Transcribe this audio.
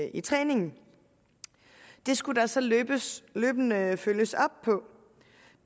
i træningen det skulle der så løbende løbende følges op på